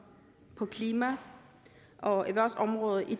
på klima og erhvervsområdet i